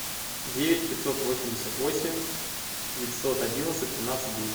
девять пятьсот восемьдесят восемь девятьсот одиннадцать тринадцать десять